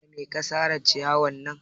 Da me ka sare ciyarwar nan?